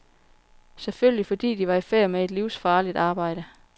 Selvfølgelig fordi de var i færd med et livsfarligt arbejde.